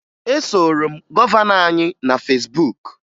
E soro m gọvanọ anyị na Fesbuk